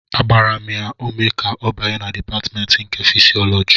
Agbara m ya ume ka ọ banye na Dipatmentị nke Fịsịọlọji